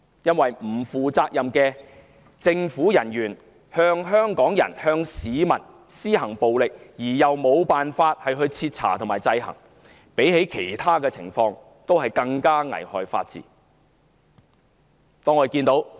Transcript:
因為不負責任的政府人員向香港人、向市民施行暴力，而又無法徹查和制衡，這比其他情況更加危害法治。